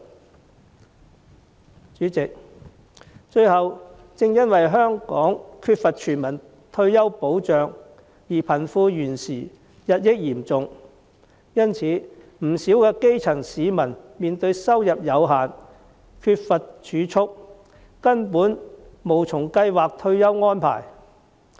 代理主席，最後，正因香港缺乏全民退休保障，而貧富懸殊日益嚴重，不少基層市民面對收入有限，缺乏儲蓄，根本無從計劃退休安排。